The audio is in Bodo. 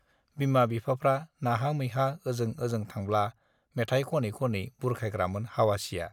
बिमा बिफाफ्रा नाहा मैहा ओजों ओजों थांब्ला मेथाय खनै खनै बुरखायग्रामोन हावासीया